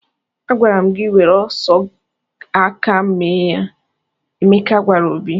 "Agwara m gị were sọọ aka mee ya!" Emeka gwara Obi.